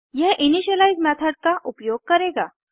यह initialize method का उपयोग करेगा